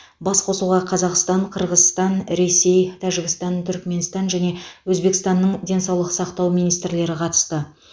басқосуға қазақстан қырғызстан ресей тәжікстан түрікменстан және өзбекстанның денсаулық сақтау министрлері қатысты